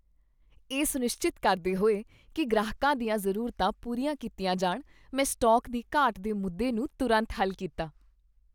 ਇਹ ਸੁਨਿਸ਼ਚਿਤ ਕਰਦੇ ਹੋਏ ਕਿ ਗ੍ਰਾਹਕਾਂ ਦੀਆਂ ਜ਼ਰੂਰਤਾਂ ਪੂਰੀਆਂ ਕੀਤੀਆਂ ਜਾਣ, ਮੈਂ ਸਟਾਕ ਦੀ ਘਾਟ ਦੇ ਮੁੱਦੇ ਨੂੰ ਤੁਰੰਤ ਹੱਲ ਕੀਤਾ।